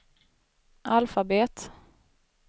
alfabet